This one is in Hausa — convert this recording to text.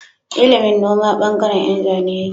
Ilimin noma bangaren Yan Zane yake